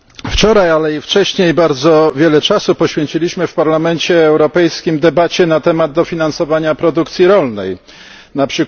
Wczoraj, ale i wcześniej bardzo wiele czasu poświęciliśmy w Parlamencie Europejskim debacie na temat dofinansowania produkcji rolnej, np.